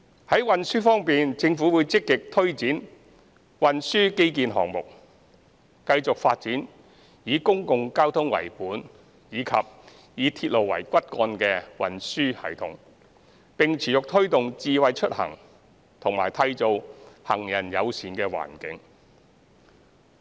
在運輸方面，政府會積極推展運輸基建項目，繼續發展以公共交通為本及以鐵路為骨幹的運輸系統，並持續推動"智慧出行"及締造行人友善環境。